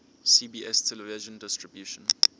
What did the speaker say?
cbs television distribution